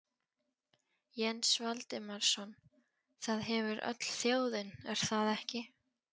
Jens Valdimarsson: Það hefur öll þjóðin, er það ekki?